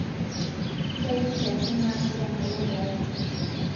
ntayu nkiasin naasi te nkalenda aai